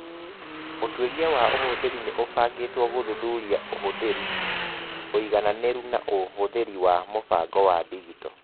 Ũtuĩria wa ũhũthĩri nĩ ũbangĩtwo gũthuthuria ũhũthĩri, ũigananĩru na ũhũthĩri wa mũbango wa digito.